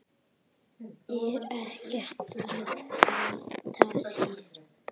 Er ekkert að flýta sér.